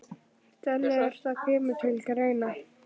Þannig að það kemur til greina?